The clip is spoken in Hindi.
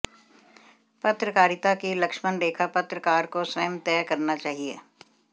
पत्रकारिता कि लक्ष्मण रेखा पत्रकार को स्वयं तय करना चाहिए